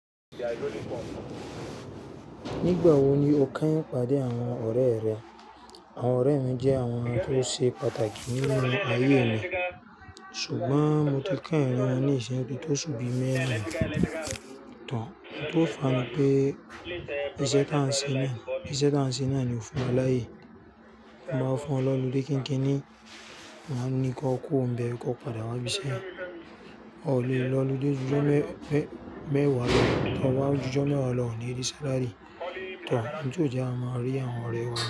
Nígbà wo ni o kányìn pàdé àwọn ọ̀rẹ́ rẹ? Àwọn ọ̀rẹ́ mi jẹ́ àwọn ènìyàn tó ṣe pàtàkì nínú ayé mi, ṣùgbọ́n mo ti kányìn wọn ní ìsẹ́ tó sùn bí i mẹ́rin tán. Ohun tó fà á ni pé iṣẹ́ tá n ṣe náà ni ó fún wa láyé. Mo máa ń fún wọn l'ọlúdé kinkinni ni mo máa ń ní kí wọ́n kú ìbẹ̀, kí wọ́n padà máa bísí. O lè lọ lodí ojújọ̀ mẹ́wàá lọ, kí wọn máa ojújọ̀ mẹ́wàá lọ, o le rí sálárì tán. Ní òbí jẹ́ a máa rí àwọn ọ̀rẹ́ wa.